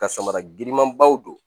Ka samara girinmanbaw don